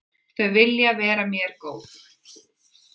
Þau vilja vera mér góð.